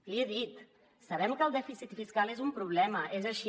l’hi he dit sabem que el dèficit fiscal és un problema és així